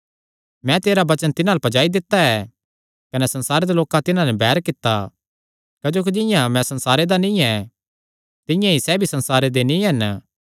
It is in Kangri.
मैं तेरा वचन तिन्हां अल्ल पज्जाई दित्ता ऐ कने संसारे दे लोकां तिन्हां नैं बैर कित्ता क्जोकि जिंआं मैं संसारे दा नीं ऐ तिंआं ई सैह़ भी संसार दे नीं हन